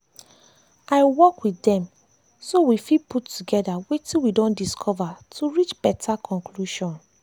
i work with dem so we fit put togetherwetin we don dicover to reach better conclusion. um